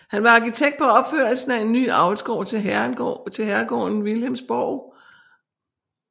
Han var arkitekt på opførelsen af en ny avlsgård til herregården Wilhelmsborg